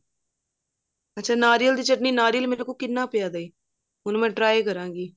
ਅੱਛਾ ਨਾਰੀਅਲ ਦੀ ਚਟਨੀ ਨਾਰੀਅਲ ਮੇਰੇ ਕੋਲ ਕਿੰਨਾ ਪਿਆ ਹੈ ਹੁਣ ਮੈਂ try ਕਰਾਂਗੀ